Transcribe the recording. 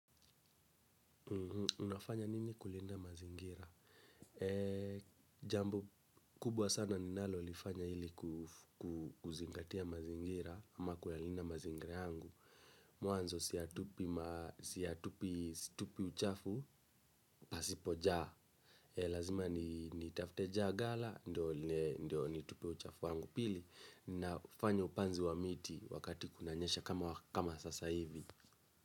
Unafanya nini kulinda mazingira? Jambo kubwa sana ninalolifanya ili kuzingatia mazingira ama kuyalinda mazingira yangu. Mwanzo situpi uchafu pasipojaa. Lazima nitafte jagala ndio nitupe uchafu yangu pili naufanya upanzi wa miti wakati kunanyesha kama sasa hivi.